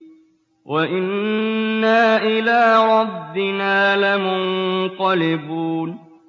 وَإِنَّا إِلَىٰ رَبِّنَا لَمُنقَلِبُونَ